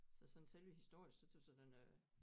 Så sådan selve historisk så tøs jeg den øh